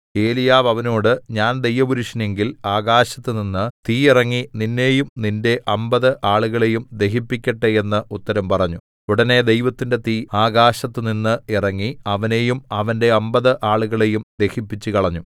ഏലീയാവ് അവനോട് ഞാൻ ദൈവപുരുഷനെങ്കിൽ ആകാശത്തുനിന്ന് തീ ഇറങ്ങി നിന്നെയും നിന്റെ അമ്പത് ആളുകളെയും ദഹിപ്പിക്കട്ടെ എന്ന് ഉത്തരം പറഞ്ഞു ഉടനെ ദൈവത്തിന്റെ തീ ആകാശത്തുനിന്ന് ഇറങ്ങി അവനെയും അവന്റെ അമ്പത് ആളുകളെയും ദഹിപ്പിച്ചുകളഞ്ഞു